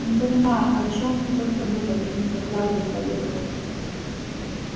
не понимаю о чём вы только думали никогда бы не поверила